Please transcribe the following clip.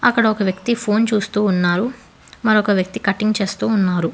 ఒక వ్యక్తి ఫోన్ చూస్తూ ఉన్నారు మరొక వ్యక్తి కటింగ్ చేస్తూ ఉన్నారు.